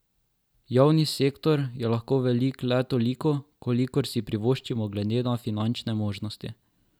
Javni sektor je lahko velik le toliko, kolikor si privoščimo glede na finančne možnosti.